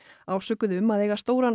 ásökuð um að eiga stóran